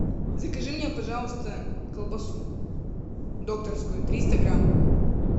закажи мне пожалуйста колбасу докторскую триста грамм